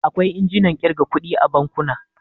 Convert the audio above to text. Akwai injinan ƙirga kuɗi a bankuna.